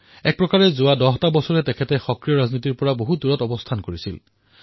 এক প্ৰকাৰে ১০ বৰ্ষৰ পৰা সক্ৰিয় ৰাজনীতিৰ পৰা বহু দূৰলৈ গুচি গৈছিল